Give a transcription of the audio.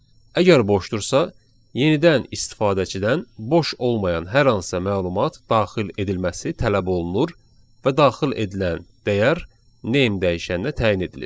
Əgər boşdursa, yenidən istifadəçidən boş olmayan hər hansı məlumat daxil edilməsi tələb olunur və daxil edilən dəyər name dəyişəninə təyin edilir.